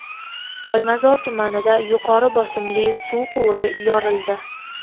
Olmazor tumanida yuqori bosimli suv quvuri yorildi.